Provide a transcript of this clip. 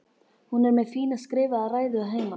Hún er með fína skrifaða ræðu að heiman